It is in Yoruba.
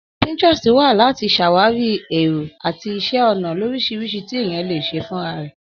Pinterest wà láti ṣàwàrí èrò àti iṣẹ́ ọnà lóríṣiríṣi tí ènìyàn lè ṣe fúnra rẹ̀.